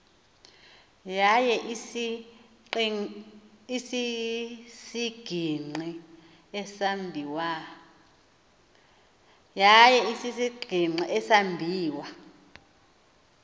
yaye isisigingqi esambiwa